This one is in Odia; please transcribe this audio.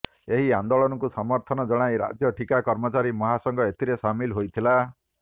ଏହି ଆନ୍ଦୋଳକୁ ସମର୍ଥନ ଜଣାଇ ରାଜ୍ୟ ଠିକା କର୍ମଚାରୀ ମହାସଂଘ ଏଥିରେ ସାମିଲ ହୋଇଥିଲା